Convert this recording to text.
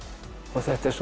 og þetta er